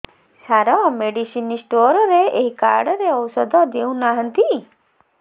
ସାର medicine store ରେ ଏଇ card ରେ ଔଷଧ ଦଉନାହାନ୍ତି